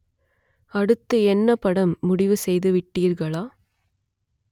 அடுத்து என்ன படம் முடிவு செய்து விட்டீர்களா